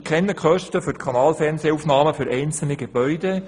Ich kenne die Kosten für Kanalfernsehaufnahmen für einzelne Gebäude.